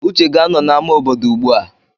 Uche ga-anọ n'ámá obodo ugbua.